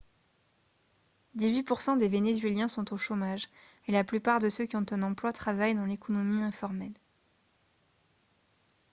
dix-huit pour cent des vénézuéliens sont au chômage et la plupart de ceux qui ont un emploi travaillent dans l'économie informelle